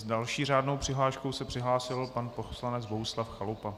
S další řádnou přihláškou se přihlásil pan poslanec Bohuslav Chalupa.